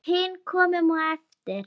Við hin komum á eftir.